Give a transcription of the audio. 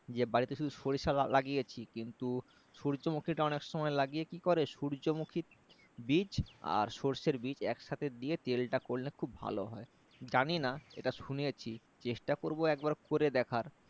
যে বাড়িতে শুধু সরিষা লাগিয়েছি কিন্তু সূর্যমুখী টা অনেক সময় লাগিয়ে কি করে সূর্যমুখী বীজ আর সর্ষের বীজ একসাথেকে দিয়ে তেলটা করলে খুব ভালো হয় জানিনা এটা শুনেছি চেষ্টা করবো একবার করে দেখার